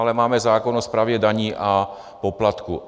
Ale máme zákon o správě daní a poplatků.